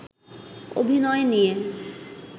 অভিনয় নিয়ে